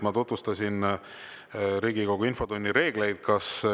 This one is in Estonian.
Ma tutvustasin Riigikogu infotunni reegleid.